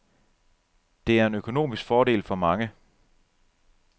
Det er en økonomisk fordel for mange.